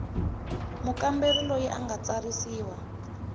mukamberi loyi a nga tsarisiwa